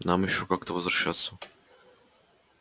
нам ещё как-то возвращаться